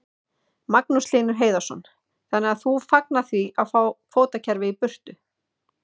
Magnús Hlynur Hreiðarsson: Þannig að þú fagnar því að fá kvótakerfið í burtu?